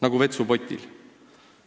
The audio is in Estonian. Nagu vetsupotil.